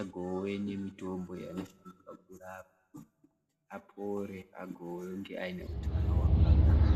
agone kuona mitombo inovarapa kuti apore agove aneutano hwakanaka.